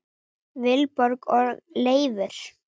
Vilborg og Leifur.